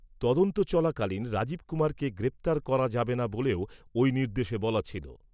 তদন্ত চলাকালীন রাজীব কুমারকে গ্রেপ্তার করা যাবে না বলেও ঐ নির্দেশে বলা ছিল।